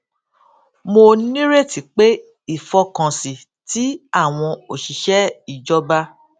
mo nírètí pé ìfọkànsìn tí àwọn òṣìṣẹ ìjọba